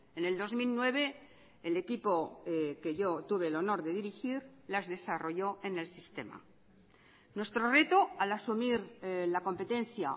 en el dos mil nueve el equipo que yo tuve el honor de dirigir las desarrolló en el sistema nuestro reto al asumir la competencia